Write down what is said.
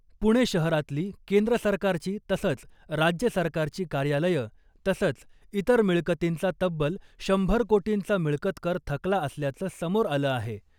पुणे शहरातली केंद्र सरकारची तसंच राज्य सरकारची कार्यालयं तसंच इतर मिळकतींचा तब्बल शंभर कोटींचा मिळकतकर थकला असल्याचं समोर आलं आहे .